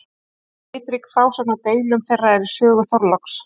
litrík frásögn af deilum þeirra er í sögu þorláks